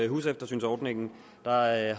huseftersynsordningen og der er